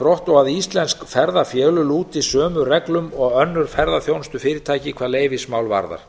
brott og íslensk ferðafélög lúti sömu reglum og önnur ferðaþjónustufyrirtæki hvað leyfismál varðar